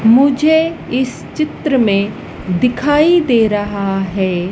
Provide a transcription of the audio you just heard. मुझे इस चित्र में दिखाई दे रहा है।